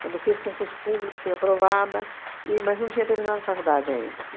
Quando eu fiz concurso público, fui aprovada, e mas não tinha terminado a faculdade ainda.